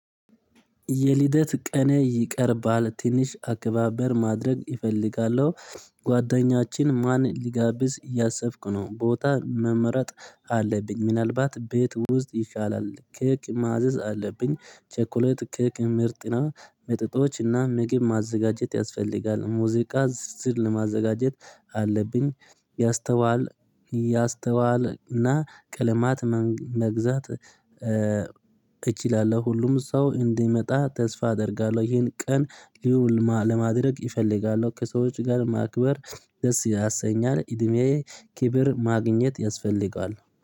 የልደት ቀኔ ይቀርባል ትንሽ አከባበር ማድረግ እፈልጋለሁ። ጓደኛችን ማን ሊጋብዝ እያሰብክ ነው? ቦታ መመረጥ አለብኝ ምናልባት ቤት ውስጥ ይሻላል። ኬክ ማዘዝ አለብኝ። ቸኮለት ኬክ ምርጥና መጠጦችና ምግብ ማዘጋጀት ያስፈልጋል። ሙዚቃ ዝርዝር ለማዘጋጀት አለብኝ። ያስተዋል እና ቅልማት መግዛት እችላለው። ሁሉም ሰው እንዲመጣ ተስፋ አደርጋለው። ይህን ቀን ሊውል ለማድረግ ይፈልጋሉ? ከሰዎች ጋር ማክበር ደስ ያሰኛል። እድሜዬ ክብር ማግኘት ያስፈልጋል